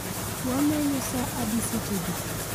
Wamenyo sa adi sechegi